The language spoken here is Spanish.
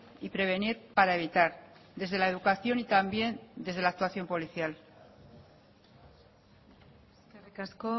y prevenir para evitar desde la educación y también desde la actuación policial eskerrik asko